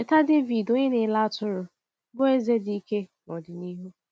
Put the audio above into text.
Cheta Dẹvid, onye na-ele atụrụ, bụ́ eze dị ike n’ọdịnihu.